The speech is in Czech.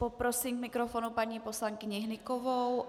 Poprosím k mikrofonu paní poslankyni Hnykovou.